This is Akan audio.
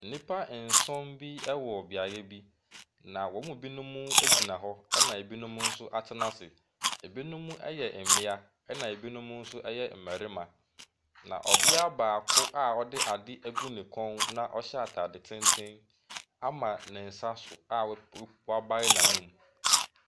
Nnipa nson bi wɔ beaeɛ bi, na wɔn mu binom gyina hɔ, ena binom nso atena ase. Ebinom yɛ mmea, ɛna ebinom nso yɛ mmarima. Na ɔbea baako a ɔde ade agu ne kɔn na ɔhyɛ atade tenten ama ne nsa so a wap wp wabae n'anum.